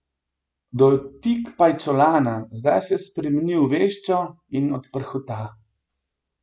Dotik pajčolana, zdaj se spremeni v veščo in odprhuta.